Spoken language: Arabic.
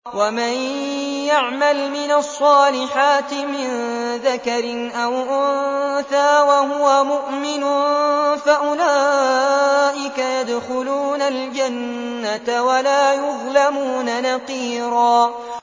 وَمَن يَعْمَلْ مِنَ الصَّالِحَاتِ مِن ذَكَرٍ أَوْ أُنثَىٰ وَهُوَ مُؤْمِنٌ فَأُولَٰئِكَ يَدْخُلُونَ الْجَنَّةَ وَلَا يُظْلَمُونَ نَقِيرًا